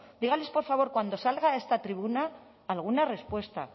dígales por favor cuando salga a esta tribuna alguna respuesta